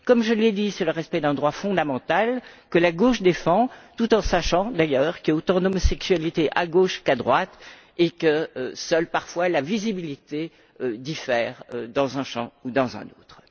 Comme je l'ai dit, c'est le respect d'un droit fondamental que la gauche défend tout en sachant d'ailleurs qu'il y a autant d'homosexualité à gauche qu'à droite et que seule parfois la visibilité diffère dans un champs ou dans un autre.